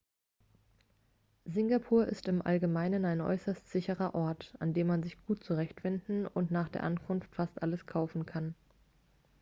singapur ist im allgemeinen ein äußerst sicherer ort an dem man sich gut zurechtfindet und nach der ankunft fast alles kaufen kann